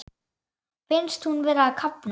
Finnst hún vera að kafna.